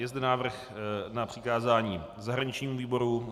Je zde návrh na přikázání zahraničnímu výboru.